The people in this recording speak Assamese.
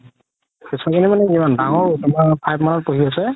কেচুৱা জনি মানে কিমান ডাঙৰও তুমাৰ five মানত পঢ়ি আছে